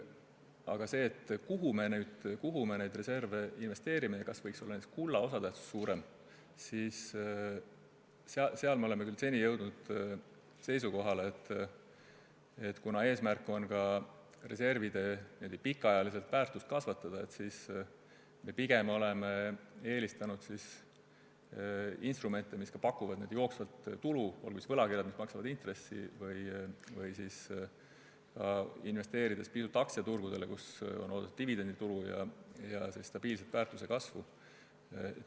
Aga selles, kuhu neid reserve investeerida ja kas näiteks kulla osatähtsus võiks olla suurem, oleme seni jõudnud seisukohale, et kuna eesmärk on ka reservide pikaajalist väärtust kasvatada, siis tuleks pigem eelistada instrumente, mis pakuvad n-ö jooksvat tulu, olgu siis tegemist võlakirjadega, mis maksavad intressi, või vähese aktsiaturgudele investeerimisega, kust on oodata dividenditulu ja stabiilset väärtuse kasvu.